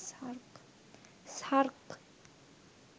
SAARC